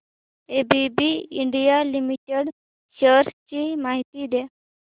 ABB India limited shares ची माहिती द्या